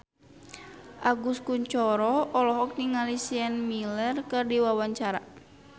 Agus Kuncoro olohok ningali Sienna Miller keur diwawancara